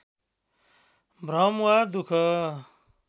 भ्रम वा दुःख